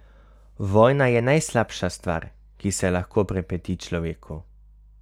Vojna je najslabša stvar, ki se lahko pripeti človeku.